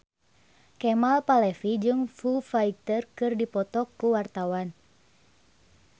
Kemal Palevi jeung Foo Fighter keur dipoto ku wartawan